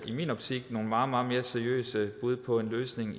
i min optik meget meget mere seriøse bud på en løsning